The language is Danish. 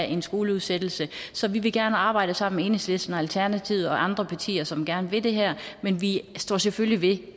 en skoleudsættelse så vi vil gerne arbejde sammen med enhedslisten og alternativet og andre partier som gerne vil det her men vi står selvfølgelig ved